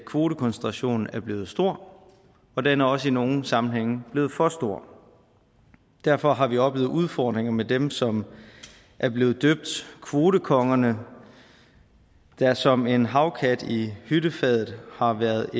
kvotekoncentrationen er blevet stor og den er også i nogle sammenhænge blevet for stor derfor har vi oplevet udfordringer med dem som er blevet døbt kvotekongerne der som en havkat i hyttefadet har været